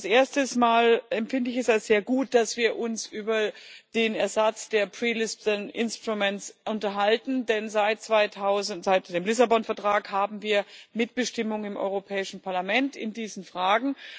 Erst einmal empfinde ich es als sehr gut, dass wir uns über den Ersatz der pre Lisbon instruments unterhalten, denn seit dem Lissabon Vertrag haben wir Mitbestimmung im Europäischen Parlament in diesen Fragen.